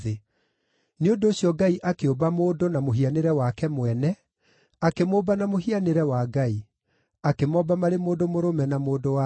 Nĩ ũndũ ũcio Ngai akĩũmba mũndũ na mũhianĩre wake mwene, akĩmũmba na mũhianĩre wa Ngai; akĩmomba marĩ mũndũ mũrũme na mũndũ-wa-nja.